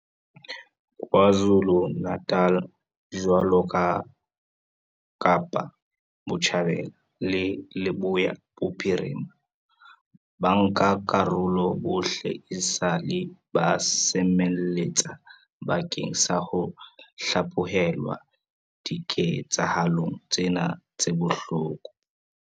KwaZulu-Natal, jwaloka Kapa Botjhabela le Leboya Bophirima, bankakarolo bohle esale ba semelletse bakeng sa ho hlaphohelwa diketsahalong tsena tse bohloko.